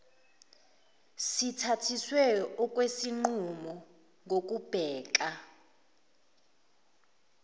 sithathiswe okwesinqumo ngokubheka